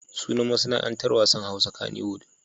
Sunan masana'antar wasan Hausa kaniwud.